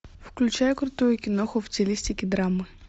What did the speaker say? включай крутую киноху в стилистике драма